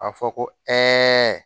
A fɔ ko